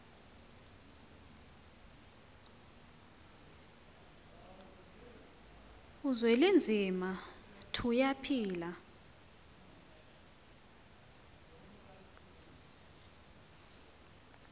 uzwelinzima tuya phila